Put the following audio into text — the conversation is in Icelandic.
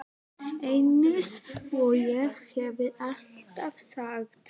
Eins og ég hef alltaf sagt.